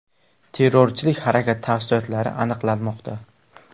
Terrorchilik harakati tafsilotlari aniqlanmoqda.